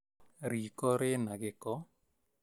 Riiko rĩna gĩko